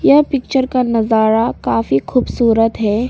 यह पिक्चर का नजारा काफी खूबसूरत है।